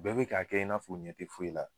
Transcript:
Bɛɛ be k'a kɛ i n'a f'u ɲɛ te foyi la.